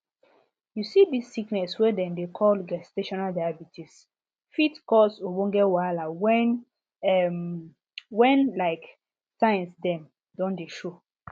you see this sickness wey dem dey call gestational diabetes fit cause ogbonge wahala when um when like signs dem don dey show